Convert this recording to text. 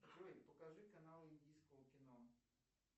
джой покажи канал индийского кино